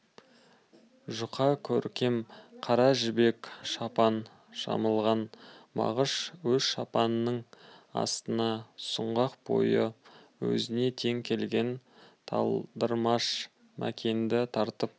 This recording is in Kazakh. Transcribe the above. жұқа көркем қара жібек шапан жамылған мағыш өз шапанының астына сұңғақ бойы өзіне тең келген талдырмаш мәкенді тартты